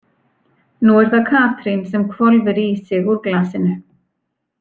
Nú er það Katrín sem hvolfir í sig úr glasinu.